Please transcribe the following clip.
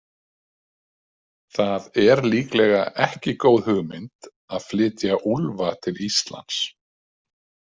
Það er líklega ekki góð hugmynd að flytja úlfa til Íslands.